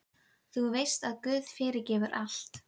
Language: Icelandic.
Þú veist að guð fyrirgefur allt.